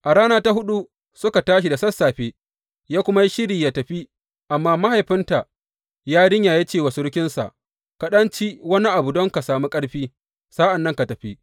A rana ta huɗu suka tashi da sassafe ya kuma yi shiri yă tafi, amma mahaifinta yarinyar ya ce wa surukinsa, Ka ɗan ci wani abu don ka sami ƙarfi; sa’an nan ka tafi.